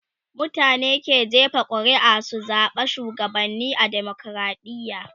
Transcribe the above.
mutane ke jefa ƙuri'a su zaɓa shugabanni a demokradiya